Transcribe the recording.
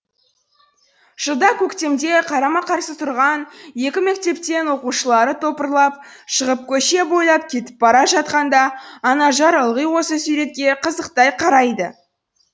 жылда көктемде қарама қарсы тұрған екі мектептен оқушылары топырлап шығып көше бойлап кетіп бара жатқанда анажар ылғи осы суретке қызықтай қарайды